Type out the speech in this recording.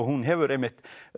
hún hefur einmitt